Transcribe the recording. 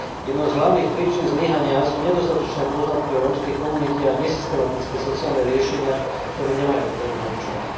Jednou z hlavných príčin zlyhania sú nedostatočné poznatky o rómskej komunite a nesystematické sociálne riešenia, ktoré nemajú potrebné účinky.